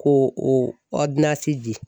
Ko o ɔdinasi di.